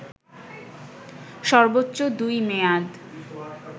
সর্বোচ্চ দুই মেয়াদ